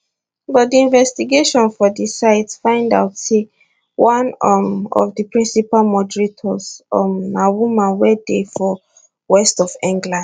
but di investigation for di site find out say one um of di principal moderators um na woman wey dey for west of england